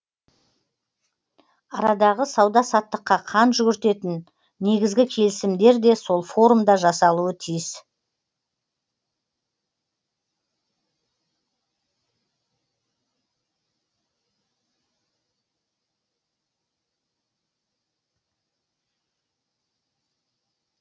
арадағы сауда саттыққа қан жүгіртетін негізгі келісімдер де сол форумда жасалуы тиіс